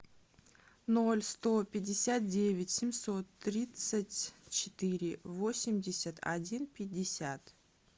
ноль сто пятьдесят девять семьсот тридцать четыре восемьдесят один пятьдесят